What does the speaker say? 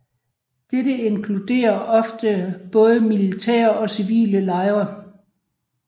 Dette inkluderer ofte både militære og civile lejre